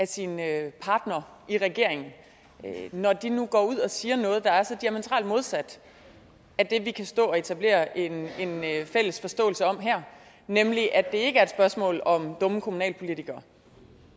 sine partnere i regeringen når de nu går ud og siger noget der er så diametralt modsat af det vi kan stå og etablere en fælles forståelse om her nemlig at det ikke er et spørgsmål om dumme kommunalpolitikere